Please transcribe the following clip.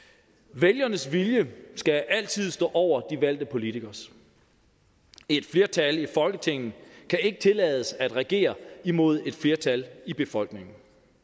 vælgernes vilje skal altid stå over de valgte politikeres et flertal i folketinget kan ikke tillades at regere imod et flertal i befolkningen